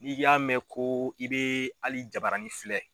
N'i y'a mɛn ko i bɛ hali jabarani filɛ